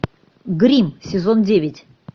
гримм сезон девять